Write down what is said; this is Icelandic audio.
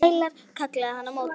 Sælar, kallaði hann á móti.